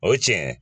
O tiɲɛ